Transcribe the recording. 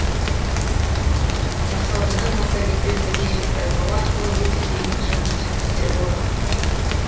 мақсатыңа массагетпен бірге жет байқауы арқылы өте керемет жанның шәкірттері болдық